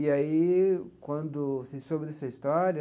E aí, quando se soube dessa história,